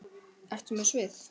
Ertu með svið?